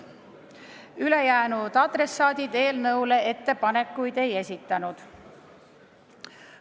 Ülejäänud adressaadid ettepanekuid ei esitanud.